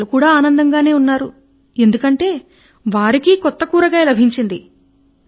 ప్రారంభములో అందరు ఆనందంగా ఉన్నారు ఎందుకంటే వారికీ కొత్త కూరగాయ లభించినది